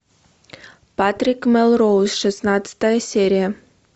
патрик мелроуз шестнадцатая серия